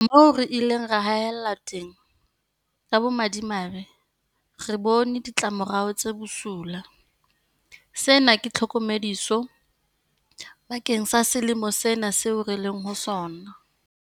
Moo re ileng ra haellwa teng, ka bomadimabe, re bone ditlamorao tse bosula. Sena ke tlhokomediso bakeng sa selemo sena seo re leng ho sona.